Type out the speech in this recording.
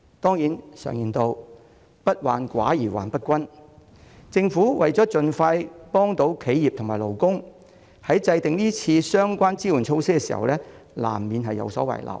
當然，常言道"不患寡而患不均"，政府為了盡快協助企業和勞工，在制訂今次相關支援措施時難免有所遺漏。